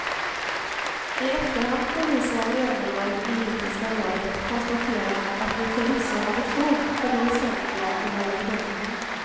I efterhand får vi som var medlemmar i etiska rådet konstatera att vi förvisso hade fog för det väsentliga i våra bedömningar.